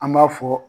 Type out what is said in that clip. An b'a fɔ